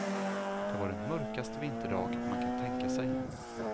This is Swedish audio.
Det var den mörkaste vinterdag man kan tänka sig.